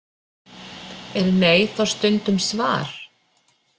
Er nei þá stundum svar?